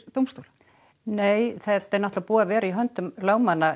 dómstóla nei þetta er búið að vera í höndum lögmanna